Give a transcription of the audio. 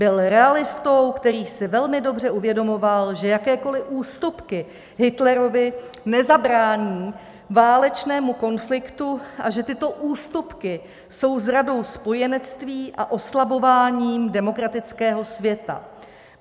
Byl realistou, který si velmi dobře uvědomoval, že jakékoliv ústupky Hitlerovi nezabrání válečnému konfliktu a že tyto ústupky jsou zradou spojenectví a oslabováním demokratického světa.